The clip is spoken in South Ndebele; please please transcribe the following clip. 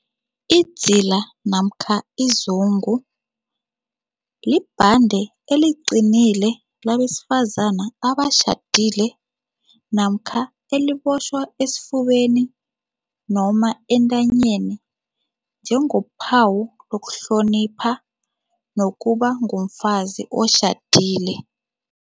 Idzila namkha izungu libhande eliqinile labesifazana abatjhadile namkha elibotjhwa esifubeni noma entanyeni njengophawu lokuhlonipha nokuba ngumfazi otjhadile.